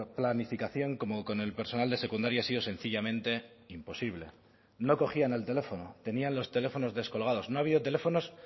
planificación como con el personal de secundaria ha sido sencillamente imposible no cogían el teléfono tenían los teléfonos descolgados no ha habido teléfonos